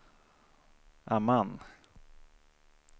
Amman